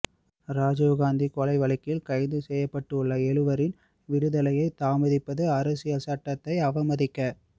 ராஜீவ்காந்தி கொலைவழக்கில் கைது செய்யப்பட்டுள்ள எழுவரின் விடுதலையை தாமதிப்பது அரசியல் சட்டத்தை அவமதிக